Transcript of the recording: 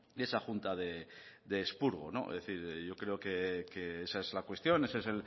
de esa junta de expurgo es decir yo creo que esa es la cuestión ese es